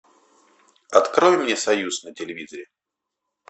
открой мне союз на телевизоре